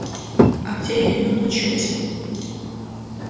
а где я её ночью возьму